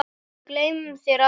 Við gleymum þér aldrei.